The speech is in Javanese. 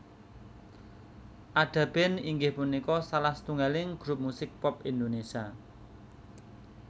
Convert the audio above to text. Ada Band inggih punika salah satunggaling grup musik pop Indonesia